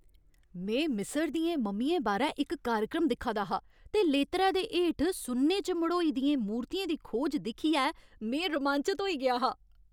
में मिस्र दियें मम्मियें बारै इक कार्यक्रम दिक्खा दा हा ते लेतरै दे हेठ सुन्ने च मढ़ोई दियें मूर्तियें दी खोज दिक्खियै में रोमांचत होई गेआ हा।